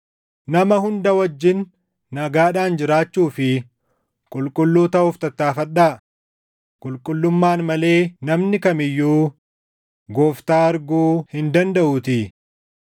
Nama hunda wajjin nagaadhaan jiraachuu fi qulqulluu taʼuuf tattaaffadhaa; qulqullummaan malee namni kam iyyuu Gooftaa arguu hin dandaʼuutii.